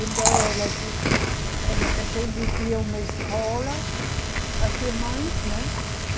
Então, ela di, ela, a gente tinha uma escola, as irmãs, né?